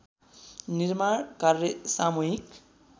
निर्माण कार्य सामुहिक